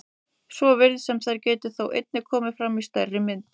Svo virðist sem þær geti þó einnig komið fram í stærri mynd.